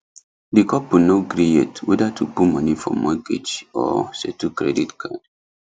the couple no gree yet whether to put money for mortgage or settle credit card